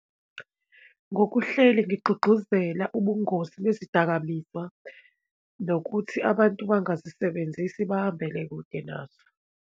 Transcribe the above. Ngokuhleli ngigqugquzela ubungozi bezidakamizwa, nokuthi abantu bangazisebenzisi, bahambele kude nazo.